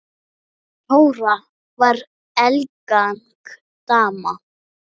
Þóra var elegant dama.